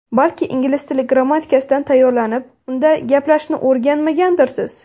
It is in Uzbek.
Balki ingliz tili grammatikasidan tayyorlanib, unda gaplashishni o‘rganmagandirsiz?